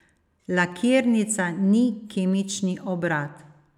Lakirnica ni kemični obrat.